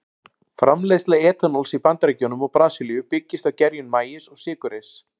Framleiðsla etanóls í Bandaríkjunum og Brasilíu byggist á gerjun maís og sykurreyrs.